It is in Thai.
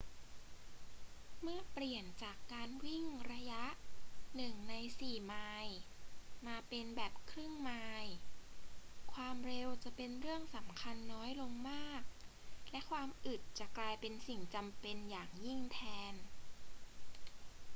เมื่อเปลี่ยนจากการวิ่งระยะ 1/4 ไมล์มาเป็นแบบครึ่งไมล์ ความเร็วจะเป็นเรื่องสำคัญน้อยลงมากและความอึดจะกลายเป็นสิ่งจำเป็นอย่างยิ่งแทน